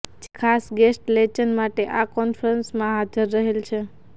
જે ખાસ ગેસ્ટ લેચન માટે આ કોન્ફરન્સમાં હાજર રહેલા છે